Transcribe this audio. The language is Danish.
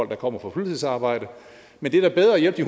der kommer fra fuldtidsarbejde men det er da bedre at hjælpe